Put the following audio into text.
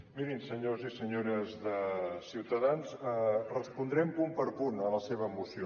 mirin senyors i senyores de ciutadans respondrem punt per punt a la seva moció